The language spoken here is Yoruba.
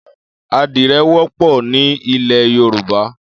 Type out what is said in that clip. Ádirẹ̀ wọpọ ni ilẹ yórùbá